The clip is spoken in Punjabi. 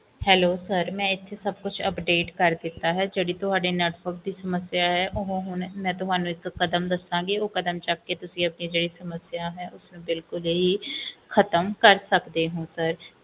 hellosir ਮੈਂ ਇਥੇ ਸਭ ਕੁਛ update ਕਰ ਦਿੱਤਾ ਹੈ ਜਿਹੜੀ ਤੁਹਾਡੇ network ਦੀ ਸਮੱਸਿਆ ਹੈ ਮੈਂ ਤੁਹਾਨੂੰ ਹੁਣ ਇੱਕ ਕਦਮ ਦੱਸਾਂਗੀ ਉਹ ਕਦਮ ਚੱਕ ਕੇ ਤੁਸੀਂ ਜਿਹੜੀ ਆਪਣੀ network ਦੀ ਸਮੱਸਿਆ ਹੈ ਓਹਨੂੰ ਖਤਮ ਕਰ ਸਕਦੇ ਊ sir